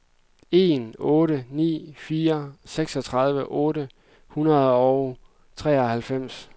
en otte ni fire seksogtredive otte hundrede og treoghalvfems